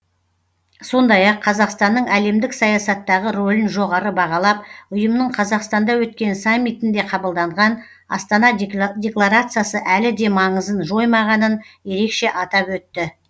сондай ақ қазақстанның әлемдік саясаттағы рөлін жоғары бағалап ұйымның қазақстанда өткен саммитінде қабылданған астана декларациясы әлі де маңызын жоймағанын ерекше атап өтті